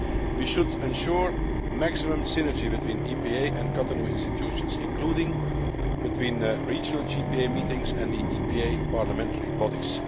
We should ensure maximum synergy between EPA and Cotonou institutions, including between regional JPA meetings and the EPA parliamentary bodies.